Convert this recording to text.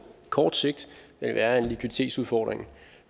kort sigt er en likviditetsudfordring